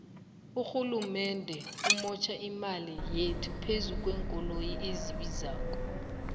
urhulumende umotjha imali yethu phezukwenkoloyi ezibizako